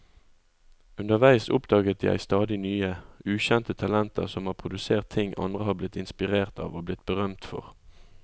Underveis oppdaget jeg stadig nye, ukjente talenter som har produsert ting andre har blitt inspirert av og blitt berømt for.